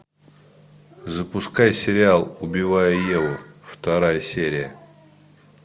запускай сериал убивая еву вторая серия